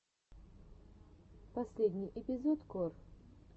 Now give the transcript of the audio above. последний эпизод кор